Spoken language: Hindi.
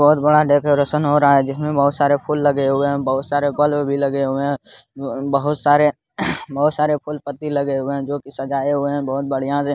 बहुत बड़ा डेकोरेशन हो रहा है जिसमें बहोत सारे फूल लगे हुए हैं| बहोत सारे बल्ब भी लगे हुए हैं| बहोत सारे बहोत सारे फूल-पत्ती लगे हुए हैं जोकि सजाये हुए हैं बहोत बढ़ियां से।